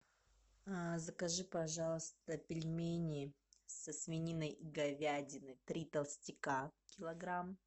закажи пожалуйста пельмени со свининой и говядиной три толстяка килограмм